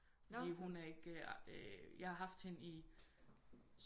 Fordi hun er ikke jeg har haft hende i